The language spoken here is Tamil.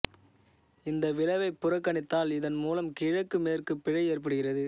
இந்த விளைவை புறக்கணித்தால் இதன் மூலம் கிழக்கு மேற்கு பிழை ஏற்படுகிறது